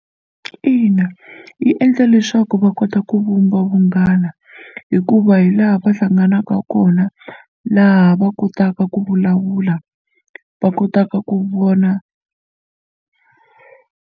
Ina, yi endla leswaku va kota ku vumba vunghana hikuva hi laha va hlanganaka kona laha va kotaka ku vulavula va kotaka ku vona.